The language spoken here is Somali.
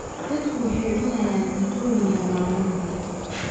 Dadku waxay cunayaan cuntooyin yar maalintii.